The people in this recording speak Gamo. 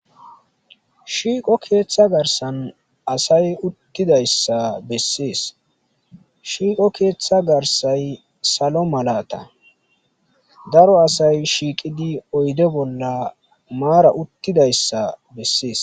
shiiqo keeththa garsan asay uttidayssa bessees shiiqo keeththa garsay salo malata daro asay shiiqidi oyde bolla maara uttidayssa bessees